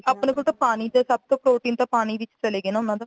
ਆਪਣੇ ਕੋਲ ਤਾਂ ਪਾਣੀ ਸਭ protein ਤਾਂ ਪਾਣੀ ਵਿੱਚ ਚਲਾ ਗਿਆ ਨਾ ਉਹਨਾਂ ਦਾ